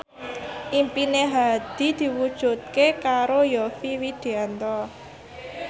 impine Hadi diwujudke karo Yovie Widianto